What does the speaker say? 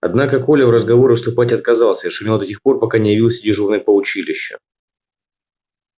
однако коля в разговоры вступать отказался и шумел до тех пор пока не явился дежурный по училищу